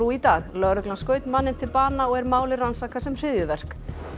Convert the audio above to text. í dag lögregla skaut manninn til bana og er málið rannsakað sem hryðjuverk